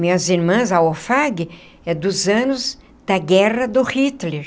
Minhas irmãs, a OFAG, é dos anos da guerra do Hitler.